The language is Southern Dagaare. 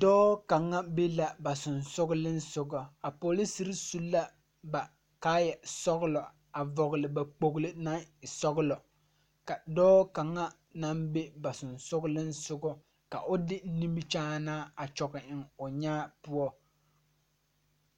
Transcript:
dɔɔ kaŋa be la ba seŋsugliŋsugɔ a poliserre su la ba kaayɛ sɔglɔ a vɔgle ba kpogle naŋ e sɔglɔ ka dɔɔ kaŋa naŋ be ba sensugkiŋsugɔ ka o de nimikyaanaa a kyɔge eŋ o nyaa poɔ.